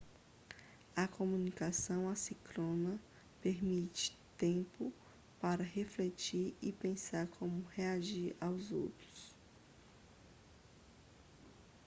a comunicação assíncrona permite tempo para refletir e pensar em como reagir aos outros